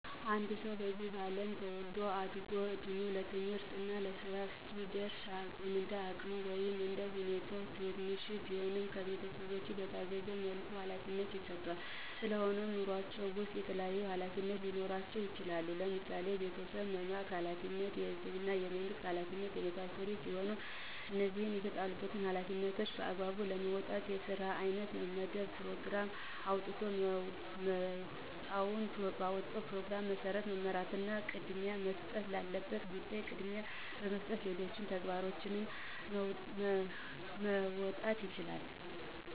አንድ ሰዉ በዚህ አለም ተወልዶ አድጎ እድሜዉ ለትምህርት እና ለስራ ሲደርስ እንደ አቅሙ ወይም እንደ ሁኔታዉ ትንሽም ቢሆን ከቤተሰቦቹ በታዘዘዉ መልኩ ኃላፊነት ይሰጠዋል ስለሆነም በኑሮአችን ዉስጥ የተለያዩ ኃላፊነቶች ሊኖሩብን ይችላሉ ለምሳሌ፦ ቤተሰብ የመምራት ኃላፊነት፣ የህዝብና የመንግስት ኃላፊነት የመሳሰሉት ሲሆኑ እነዚህን የተጣሉብንን ኃላፊነቶች በአግባቡ ለመወጣት የስራ ሰዓት መመደብ ፕሮግራም አዉጥቶ በወጣዉ ፕሮግራም መሰረት መመራትና ቅድሚያ መሰጠት ላለበት ጉዳይ ቅድሚያ በመስጠት ሌሎች ተግባሮችንም መወጣት ይቻላል።